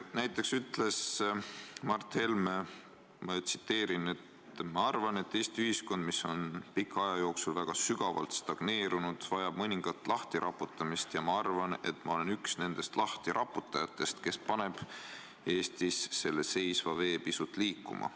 Näiteks ütles Mart Helme: "Ma arvan, et Eesti ühiskond, mis on pika aja jooksul väga sügavalt stagneerunud, vajab mõningat lahtiraputamist, ja ma arvan, et ma olen üks nendest lahtiraputajatest, kes paneb Eestis selle seisva vee pisut liikuma.